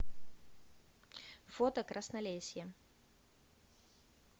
фото краснолесье